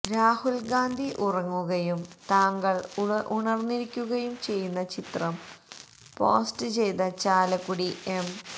രാഹുൽ ഗാന്ധി ഉറങ്ങുകയും താങ്കൾ ഉണർന്നിരിക്കുകയും ചെയ്യുന്ന ചിത്രം പോസ്റ്റ് ചെയ്ത ചാലക്കുടി എം